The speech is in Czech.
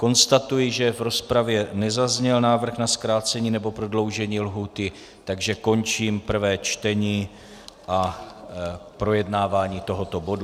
Konstatuji, že v rozpravě nezazněl návrh na zkrácení nebo prodloužení lhůty, takže končím prvé čtení a projednávání tohoto bodu.